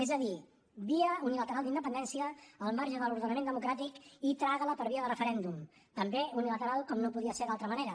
és a dir via unilateral d’independència al marge de l’ordenament democràtic i trágala per via de referèndum també unilateral com no podia ser d’altra manera